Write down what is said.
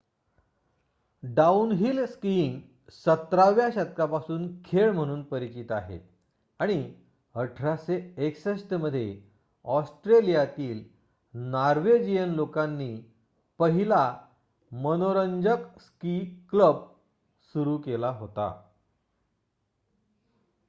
downhill skiing १७ व्या शतकापासून खेळ म्हणून परिचित आहे आणि १८६१ मध्ये ऑस्ट्रेलियातील नॉर्वेजियन लोकांनी पहिला मनोरंजक स्की क्लब सुरू केला होता